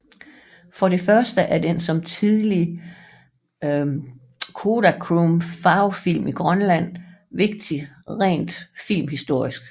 For det første er den som tidlig Kodachrome farvefilm i Grønland vigtig rent filmhistorisk